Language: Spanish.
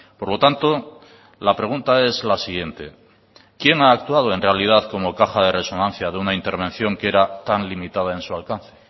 por lo tanto la pregunta es la siguiente quién ha actuado en realidad como caja de resonancia de una intervención que era tan limitada en su alcance